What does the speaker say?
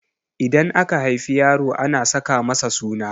Idan aka haifi yaro ana saka masa suna